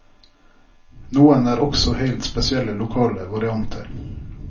Noen er også helt spesielle lokale varianter.